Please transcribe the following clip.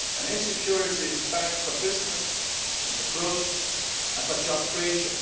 Insecurity is bad for business, for growth and for job creation.